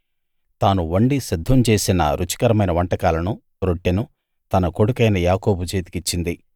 తాను వండి సిద్ధం చేసిన రుచికరమైన వంటకాలనూ రొట్టెనూ తన కొడుకైన యాకోబు చేతికిచ్చింది